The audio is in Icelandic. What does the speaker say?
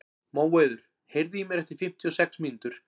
Móeiður, heyrðu í mér eftir fimmtíu og sex mínútur.